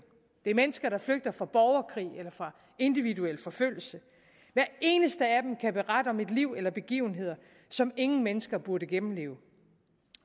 det er mennesker der flygter fra borgerkrig eller fra individuel forfølgelse hver eneste af dem kan berette om et liv eller begivenheder som ingen mennesker burde gennemleve